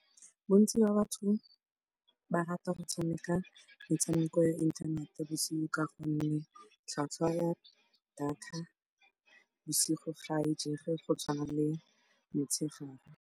Bontsi ba batho ba rata go tshameka metshameko ya inthanete bosigo ka gonne tlhwatlhwa ya data bosigo ga e jege go tshwana le motshegare.